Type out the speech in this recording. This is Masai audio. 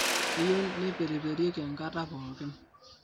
Keyieu neiteperiperieki ngata pooki